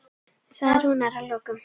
sagði Rúnar að lokum.